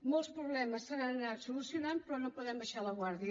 molts problemes s’han anat solucionant però no podem abaixar la guàrdia